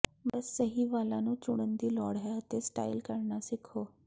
ਬਸ ਸਹੀ ਵਾਲਾਂ ਨੂੰ ਚੁਣਨ ਦੀ ਲੋੜ ਹੈ ਅਤੇ ਸਟਾਈਲ ਕਰਨਾ ਸਿੱਖੋ